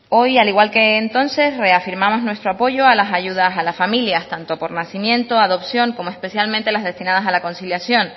hoy al igual que entonces reafirmamos nuestro apoyo a las ayudas a las familias tanto por nacimiento adopción como especialmente las destinadas a la conciliación